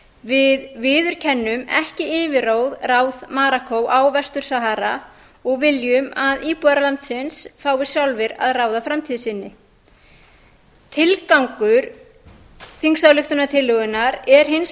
við viðurkennum ekki yfirráð marokkó á vestur sahara og viljum að íbúar landsins fái sjálfir að ráða framtíð sinni tilgangur þingsályktunartillögunnar er hins